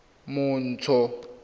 montsho